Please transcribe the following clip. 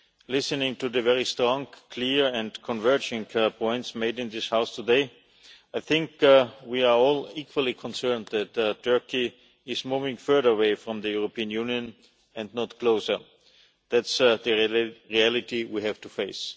Listening to the very strong, clear and converging points made in this House today, I think we are all equally concerned that Turkey is moving further away from the European Union and not closer. That is the reality we have to face.